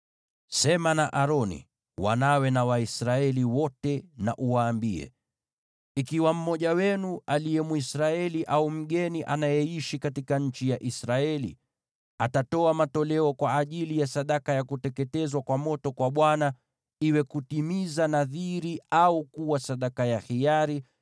“Sema na Aroni na wanawe, na Waisraeli wote uwaambie: ‘Ikiwa mmoja wenu, aliye Mwisraeli au mgeni anayeishi katika nchi ya Israeli, atatoa matoleo kwa ajili ya sadaka ya kuteketezwa kwa moto kwa Bwana , iwe kutimiza nadhiri au kuwa sadaka ya hiari,